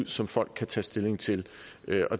som folk kan tage stilling til